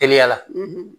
Teliya la